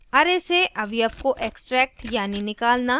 * array से अवयव को extract यानी निकालना